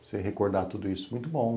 Você recordar tudo isso, muito bom.